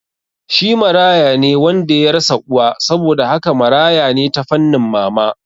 Shi marayane wanda yarasa uwa, saboda haka marayane ta fannin mama